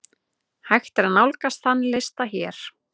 Hægt er nálgast þann lista hér.